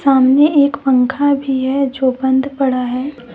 सामने एक पंखा भी है जो बंद पड़ा है ।